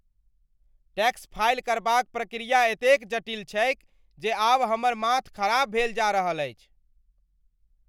Tax file करबाक प्रक्रिया एतेक जटिल छैक जे आब हमर माथ खराप भेल जा रहल अछि।